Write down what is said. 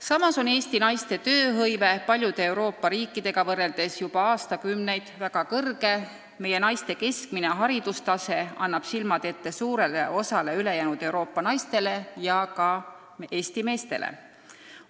Samas on Eesti naiste tööhõive paljude Euroopa riikide omaga võrreldes juba aastakümneid olnud väga suur ning meie naised annavad oma keskmise haridustasemega silmad ette suurele osale ülejäänud Euroopa naistele ja ka Eesti meestele.